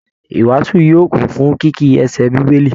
Ìwàasù yóò kún fún kìkì ẹsẹ Bíbélì